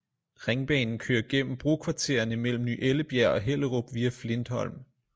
Ringbanen kører gennem brokvartererne mellem ny ellebjerg og hellerup via flintholm